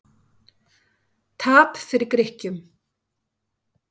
Tap fyrir Grikkjum